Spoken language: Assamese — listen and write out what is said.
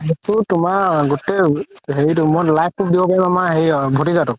সেইটো তুমাৰ গুতেই হেৰিতো live তোক দিব পাৰিম আমাৰ হেৰি ভতিজা তোক